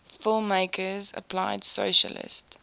filmmakers applied socialist